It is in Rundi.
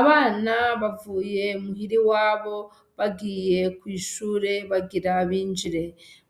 Abana bavuye muhira iwabo bagiye kw' ishure, bagira binjire